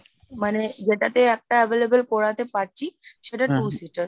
মানে যেটাতে একটা available করাতে পারছি। সেটা two seater